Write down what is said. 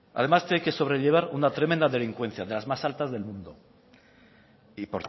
además tiene que sobrellevar una tremenda delincuencia de las más altas del mundo y